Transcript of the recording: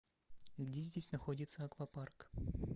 где здесь находится аквапарк